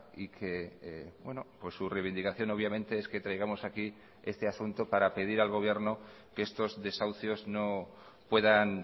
y que su reivindicación obviamente es que traigamos aquí este asunto para pedir al gobierno que estos desahucios no puedan